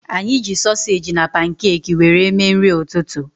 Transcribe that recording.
Anyị ji sosage na pankeki wéré mee nri ụtụtụ